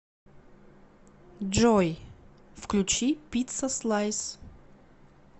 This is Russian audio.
джой включи пиццаслайс